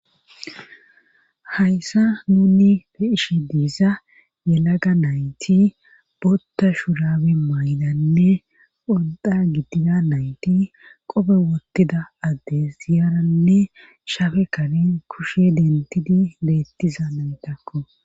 hayssa nuuni peeshe diiza yelaga nayti botta shurabe maynanne odda gidida nayti qope wottida addes ziyaranne shafe kani kushe dentidi beettiza naytakko